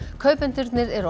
kaupendurnir eru